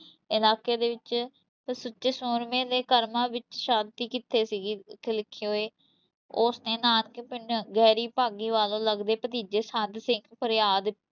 ਇਲਾਕੇ ਦੇ ਵਿੱਚ ਉਹ ਸੱਚੇ ਸੂਰਮੇ ਦੇ ਕਰਮਾਂ ਵਿੱਚ ਸ਼ਾਂਤੀ ਕਿੱਥੇ ਸੀਗੀ ਉਸ ਨੇ ਨਾਨਕੇ ਪਿੰਡ ਗਹਿਰੀ ਭਾਗੀ ਵੱਲੋਂ ਲੱਗਦੇ ਭਤੀਜੇ ਸੰਤ ਸਿੰਘ ਫਰਿਆਦ